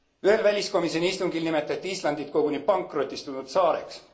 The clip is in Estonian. Ühel väliskomisjoni istungil nimetati Islandit koguni pankrotistunud saareks.